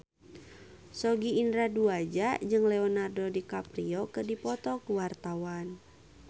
Sogi Indra Duaja jeung Leonardo DiCaprio keur dipoto ku wartawan